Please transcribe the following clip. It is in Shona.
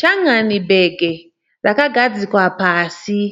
Changani bhegi rakagadzikwa pasi.